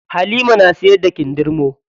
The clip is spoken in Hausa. Halima na siyar da kindirmo.